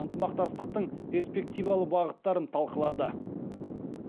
ынтымақтастықтың перспективалы бағыттарын талқылады